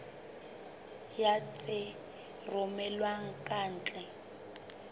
ya tse romellwang ka ntle